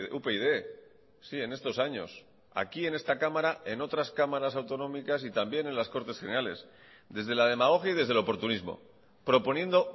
upyd sí en estos años aquí en esta cámara en otras cámaras autonómicas y también en las cortes generales desde la demagogia y desde el oportunismo proponiendo